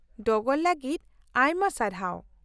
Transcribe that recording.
-ᱰᱚᱜᱚᱨ ᱞᱟᱜᱤᱫ ᱟᱭᱢᱟ ᱥᱟᱨᱦᱟᱣ ᱾